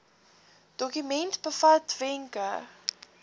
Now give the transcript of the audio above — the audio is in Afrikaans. dokument bevat wenke